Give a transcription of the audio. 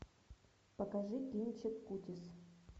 покажи кинчик кутис